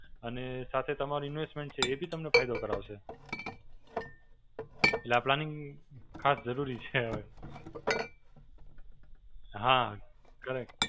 અને સાથે તમારી investment છે એ બી તમને ફાયદો કરાવશે. એટલે આ planning ખાસ જરૂરી છે. હાં correct.